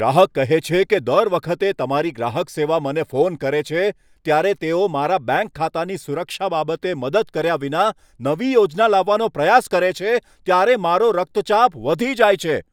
ગ્રાહક કહે છે કે, દર વખતે જ્યારે તમારી ગ્રાહક સેવા મને ફોન કરે છે, ત્યારે જ્યારે તેઓ મારા બેંક ખાતાની સુરક્ષા બાબતે મદદ કર્યા વિના નવી યોજના લાવવાનો પ્રયાસ કરે છે, ત્યારે મારો રક્તચાપ વધી જાય છે.